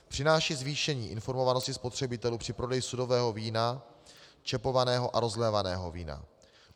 Přináší zvýšení informovanosti spotřebitelů při prodeji sudového vína, čepovaného a rozlévaného vína.